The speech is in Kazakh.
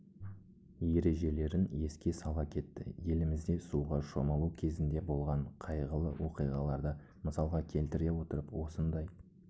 ережелерін еске сала кетті елімізде суға шомылу кезінде болған қайғылы оқиғаларды мысалға келтіре отырып осындай